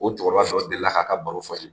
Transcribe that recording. O cɛkɔrɔba sɔrɔla ka ka baro fɔ n ye.